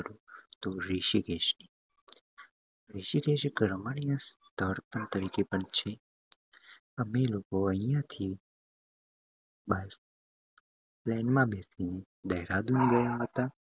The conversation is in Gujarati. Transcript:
તો ઋષિકેશ. ઋષિકેશ એક રમણીય સ્થળ તરીકે પણ છે. અમે લોકો અહિયાથી train માં બેસી ને દેહરાદુન ગયા હતા.